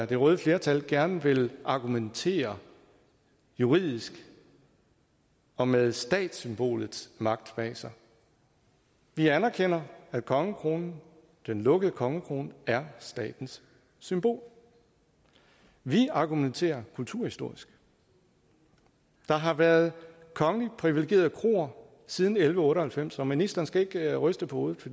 det røde flertal gerne vil argumentere juridisk og med statssymbolets magt bag sig vi anerkender at kongekronen den lukkede kongekrone er statens symbol vi argumenterer kulturhistorisk der har været kongeligt privilegerede kroer siden elleve otte og halvfems og ministeren skal ikke ryste på hovedet